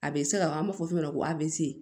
A bɛ se ka an b'a fɔ min ma ko avc